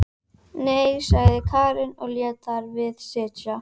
Og hvað um gyðingana, þrælabúðirnar, gasklefana?